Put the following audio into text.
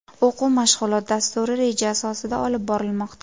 O‘quv-mashg‘ulot dasturi reja asosida olib borilmoqda.